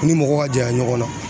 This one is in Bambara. I ni mɔgɔ ka janya ɲɔgɔnna